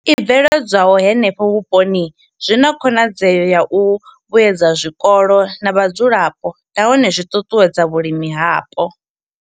I bveledzwaho henefho vhuponi zwi na khonadzeo ya u vhuedza zwikolo na vhadzulapo nahone zwi ṱuṱuwedza vhulimi hapo.